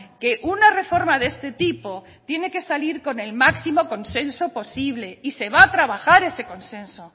que una reforma de este tipo tiene que salir con el máximo consenso posible y se va a trabajar ese consenso